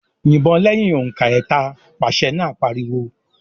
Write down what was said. "Yìbọn lẹ́yìn òǹkà ẹ̀ta!" Pàṣẹ náà pariwo.